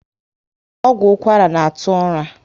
Ọgwụ ụkwara na atụ ụra